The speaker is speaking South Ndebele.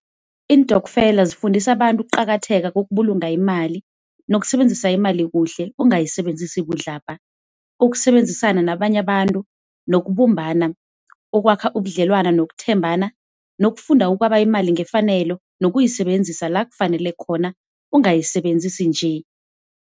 Iintokfela zifundisa abantu ukuqakatheka kokubulunga imali nokusebenzisa imali kuhle ungayisebenzisi budlabha. Ukusebenzisana nabanye abantu nokubumbana, ukwakha ubudlelwano nokuthembana nokufunda ukwaba imali ngefanelo, nokuyisebenzisa lakufanele khona, ungayisebenzisi nje.